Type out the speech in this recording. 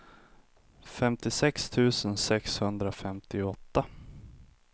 femtiosex tusen sexhundrafemtioåtta